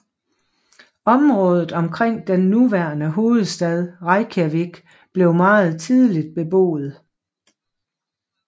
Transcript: Området omkring den nuværende hovedstad Reykjavik blev meget tidligt beboet